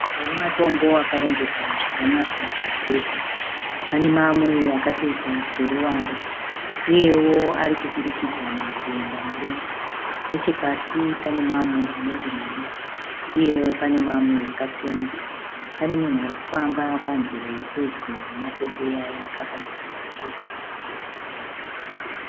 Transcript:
Matombo akarongeka zvakanaka zvikuru pane amwe akatoita seruvare uyewo ariturikidzana kuenda mudenga nechepasi pane mamwe anenge madiki uyewo pane mamwe akatsemuka. pane munhu arikufamba panzira iri pedyo nematombo Aya akabata bhaketi